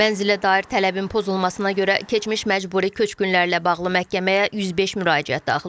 Mənzilə dair tələbin pozulmasına görə keçmiş məcburi köçkünlərlə bağlı məhkəməyə 105 müraciət daxil olub.